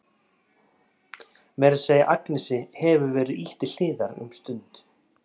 Meira að segja Agnesi hefur verið ýtt til hliðar um stund.